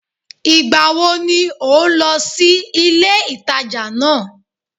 Ìgbàwo ni ò ń lọ sí ilé-ìtàjà náà